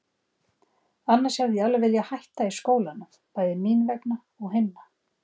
Annars hefði ég alveg viljað hætta í skólanum, bæði mín vegna og hinna.